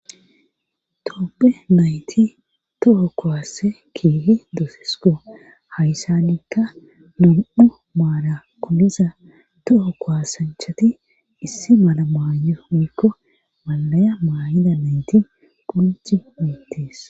toppe nayti toho kowasse kiihi doosisko hayssanikka num7u maara koomiza toho kowasanchati issi mala maaye miikko maalaya maayida nayti ponci miittiis